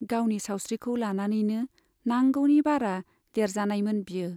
गावनि सावस्रिखौ लानानैनो नांगौनि बारा देरजानायमोन बियो।